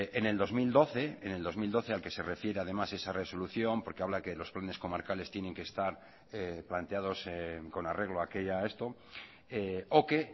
en el dos mil doce en el dos mil doce al que se refiere además esa resolución porque habla que los planes comarcales tienen que estar planteados con arreglo a aquella esto o que